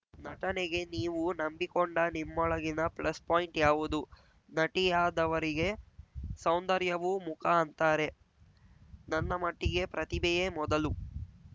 ನಟನೆಗೆ ನೀವು ನಂಬಿಕೊಂಡ ನಿಮ್ಮೊಳಗಿನ ಪ್ಲಸ್‌ ಪಾಯಿಂಟ್‌ ಯಾವುದು ನಟಿಯಾದವರಿಗೆ ಸೌಂದರ್ಯವೂ ಮುಖ ಅಂತಾರೆ ನನ್ನ ಮಟ್ಟಿಗೆ ಪ್ರತಿಭೆಯೇ ಮೊದಲು